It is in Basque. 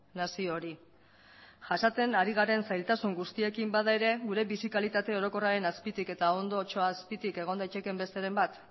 nazio hori jasaten ari garen zailtasun guztiekin bada ere gure bizi kalitate orokorraren azpitik eta ondotxo azpitik egon daitekeen besteren bat